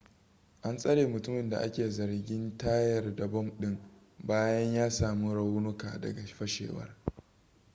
an tsare mutumin da a ke zargin tayar da bom ɗin bayan ya sami raunuka daga fashewar